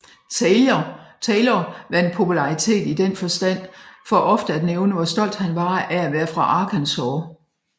Taylor vandt popularitet i den forstand for ofte at nævne hvor stolt han var af at være fra Arkansas